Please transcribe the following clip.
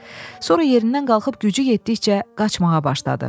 Sonra yerindən qalxıb gücü yetdikcə qaçmağa başladı.